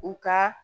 U ka